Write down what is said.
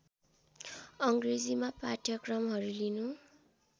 अङ्ग्रेजीमा पाठ्यक्रमहरू लिनु